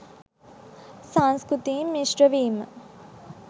සංස්කෘතීන් මිශ්‍රවීම